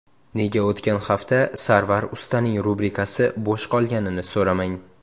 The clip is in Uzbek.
Nega o‘tgan hafta Sarvar ustaning rubrikasi bo‘sh qolganini so‘ramang.